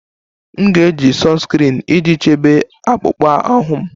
M na-eji sunscreen iji chebe akpụkpọ ahụ m